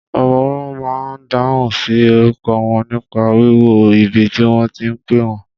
Ọmọwọ́ ma n dáhùn sí orúkọ wọn nípa wíwo ibi tí wọ́n ti pẹ́ wọ́n.